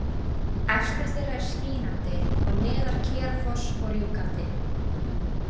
Efstur þeirra er Skínandi og neðar Kerafoss og Rjúkandi.